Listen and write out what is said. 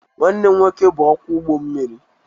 Nwanne m nwoke bụ ọkwọ ụgbọ mmiri.